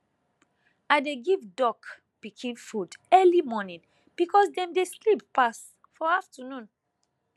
i dey give duck pikin food early morning because dem dey sleep pass for afternoon